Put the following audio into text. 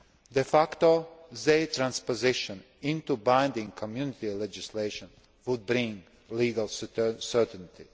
De facto, their transposition into binding Community legislation would bring legal certainty.